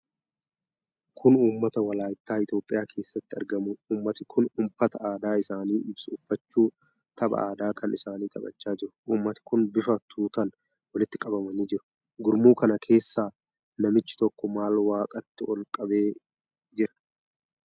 Kun ummata Walaayittaa Itoophiyaa keessatti argamudha. Ummati kun uffata aadaa isaanii ibsu uffachuu tapha aadaa kan isaanii taphachaa jiru. Ummati kun bifa tuutaan walitti qabamanii jiru. Gurmuu kana keessaa namichi tokko maal waaqatti ol qabee jira?